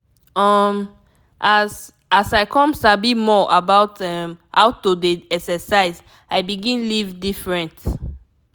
um as as i come sabi more about um how to dey exercise i begin live different.